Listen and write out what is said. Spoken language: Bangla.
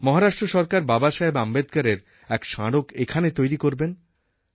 মহারাষ্ট্র সরকার বাবাসাহেব আম্বেদকরের এক স্মারক এখানে তৈরি করবেন